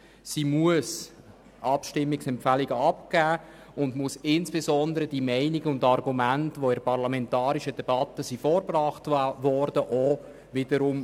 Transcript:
Sie muss Abstimmungsempfehlungen abgeben und muss insbesondere die Meinungen und Argumente, die in der parlamentarischen Debatte vorgebracht wurden, darlegen.